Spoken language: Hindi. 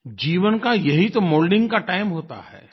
जीवन का यही तो मोल्डिंग का टाइम होता है